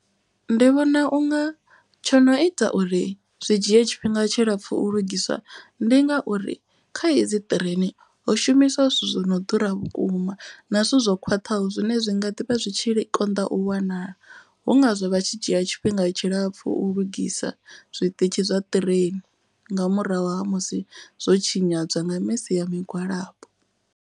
Ndi vhona unga tsho no ita uri zwi dzhie tshifhinga tshilapfu u lugiswa. Ndi ngauri kha edzi ṱireini ho shumiswa zwithu zwi no ḓura vhukuma na zwithu zwo khwaṱhaho. Zwine zwi nga ḓi vha zwitshi konḓa u wanala hu ngazwo vha tshi dzhia tshifhinga tshilapfu u lugisa zwiṱitshi zwa ṱireini. Nga murahu ha musi zwo tshinyadzwa nga misi ya migwalabo.